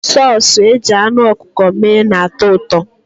Sọọsụ e ji anụ ọkụkọ mee na-atọ ụtọ.